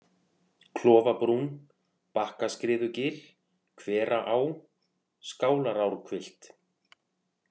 Klofabrún, Bakkaskriðugil, Hveraá, Skálarárhvilft